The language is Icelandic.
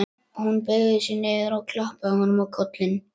Hún beygði sig niður og klappaði honum á kollinn.